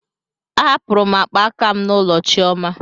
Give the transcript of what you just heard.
Ahapụrụ m akpa aka m n'ụlọ chioma.